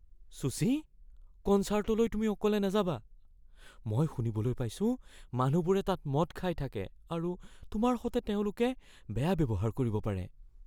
শুচি, কনছাৰ্টলৈ তুমি অকলে নাযাবা। মই শুনিবলৈ পাইছোঁ মানুহবোৰে তাত মদ খাই থাকে আৰু তোমাৰ সৈতে তেওঁলোকে বেয়া ব্যৱহাৰ কৰিব পাৰে।